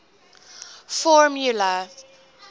formula